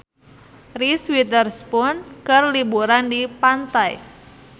Reese Witherspoon keur liburan di pantai